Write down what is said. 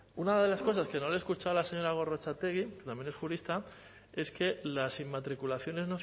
una de las cosas que no le he escuchado a la señora gorrotxategi también es jurista es que las inmatriculaciones